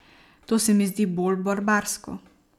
To se mi zdi bolj barbarsko.